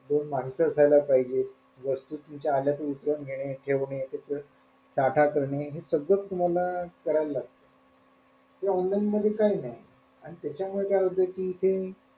तो माहित असायला पाहिजे वस्तू तुमच्या आल्या का उतरवून घेणे ठेवणेकरणे हे सगळं तुम्हाला करायला लागत online मध्ये काही नाही आणि त्याच्यामुळं काय होत कि इथे,